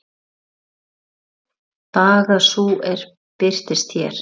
Baga sú er birtist hér.